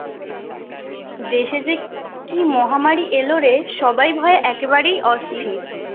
দেশের যে কি মহামারী এল রে সবাই ভয়ে একেবারেই অস্তির